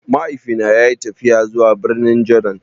Mahaifi na ya yi tafiya zuwa birnin Jordan